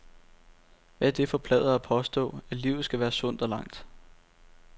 Hvad er det for pladder at påstå, at livet skal være sundt og langt.